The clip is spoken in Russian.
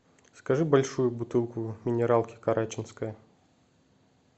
закажи большую бутылку минералки караченская